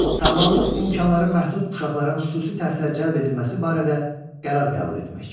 Sağlamlıq imkanları məhdud uşaqların xüsusi təhsilə cəlb edilməsi barədə qərar qəbul etmek.